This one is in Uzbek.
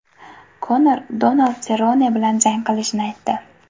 Konor Donald Serrone bilan jang qilishini aytdi.